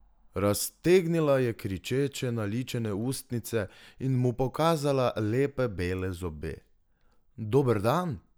Raztegnila je kričeče naličene ustnice in mu pokazala lepe bele zobe: "Dober dan!